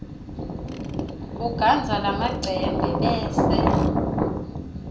ugandza lamacembe bese